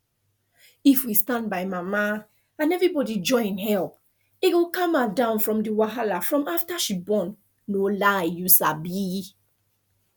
if we stand by mama and everybody join help e go calm her down from the wahala from after she born no lieyou sabi